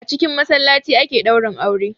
A cikin massalaci ake daurin aure.